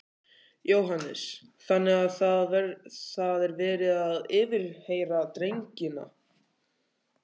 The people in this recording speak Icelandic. Jóhannes: Þannig að það er verið að yfirheyra drengina?